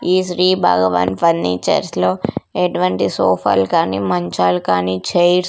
ఈ శ్రీ భగవాన్ ఫర్నిచర్స్ లో ఎటువంటి సోఫాల్కాని మంచాల్ కానీ చైర్స్ --